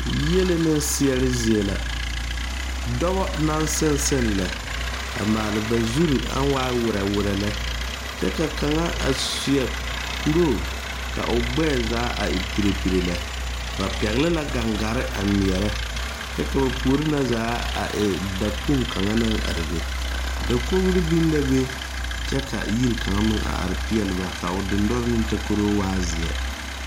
Yelena ne seɛre zie la dɔba naŋ seŋ seŋ lɛ a maale ba zuri aŋ waa werɛ werɛ lɛ kyɛ ka kaŋa a seɛ kuroo ka o gbɛɛ zaa a e pire pire lɛ ba pɛgle la gangare a ŋmeɛrɛ kyɛ ka ba puori na zaa a e dakpoŋ naŋ are be dakogri biŋ la be kyɛ ka yiri kaŋa meŋ a are peɛle ba ka o dendɔre ne takoroo waa zeɛ.